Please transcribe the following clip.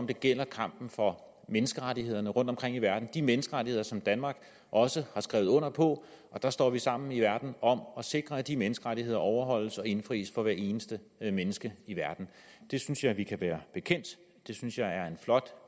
det gælder kampen for menneskerettighederne rundtomkring i verden det de menneskerettigheder som danmark også har skrevet under på og der står vi sammen i verden om at sikre at de menneskerettigheder overholdes og indfries for hvert eneste menneske i verden det synes jeg at vi kan være bekendt det synes jeg er en flot